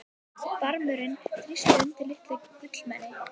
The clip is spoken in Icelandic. Barmurinn þrýstinn undir litlu gullmeni.